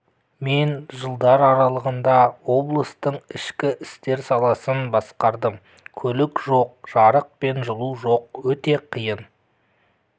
мен жылдар аралығында облыстың ішкі істер саласын басқардым көлік жоқ жарық пен жылу жоқ өте қиын